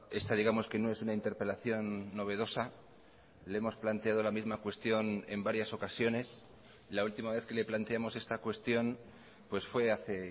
esta digamos que no es una interpelación novedosa le hemos planteado la misma cuestión en varias ocasiones la última vez que le planteamos esta cuestión pues fue hace